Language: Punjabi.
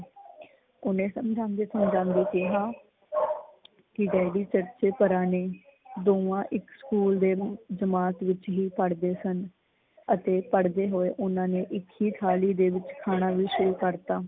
ਓਹਨੇ ਸਮਝਾਂਦੇ ਸਮਝਾਂਦੇ ਕਿਹਾ ਕੀ ਡੈਡੀ ਸੱਚੇ ਪੁਰਾਣੇ ਦੋਹਾਂ ਇੱਕ ਸਕੂਲ ਦੇ ਜਮਾਤ ਵਿੱਚ ਹੀ ਪੜ੍ਹਦੇ ਸਨ ਅਤੇ ਪੜ੍ਹਦੇ ਹੋਏ ਓਨਾਂ ਨੇ ਇੱਕ ਹੀ ਥਾਲੀ ਦੇ ਵਿੱਚ ਖਾਣਾ ਵੀ ਸ਼ੁਰੂ ਕਰਤਾ।